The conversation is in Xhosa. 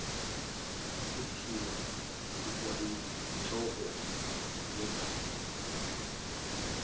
kuthiwa sikwayintloko yegatya